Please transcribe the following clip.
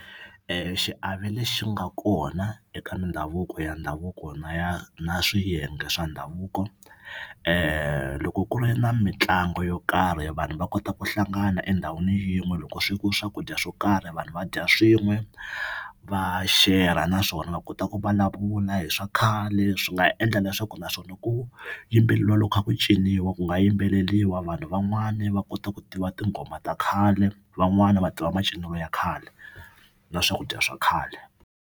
Xiave lexi nga kona eka ndhavuko ya ndhavuko na ya na swiyenge swa ndhavuko loko ku ri na mitlangu yo karhi vanhu va kota ku hlangana endhawini yin'we loko swekiwe swakudya swo karhi vanhu va dya swin'we va share naswona va kota ku vulavula hi swa khale swi nga endla leswaku naswona ku yimbeleriwa loko kha ku ciniwa ku nga yimbeleriwa vanhu van'wani va kota ku tiva tinghoma ta khale van'wani va tiva macinelo ya khale na swakudya swa khale.